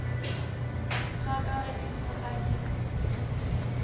kgaka ge e fofa ke